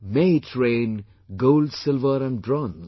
May it rain gold, silver and bronze